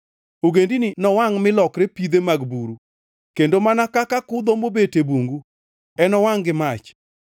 Ogendini nowangʼ, mi lokre pidhe mag buru, kendo mana kaka kudho mobet e bungu enowangʼ gi mach!”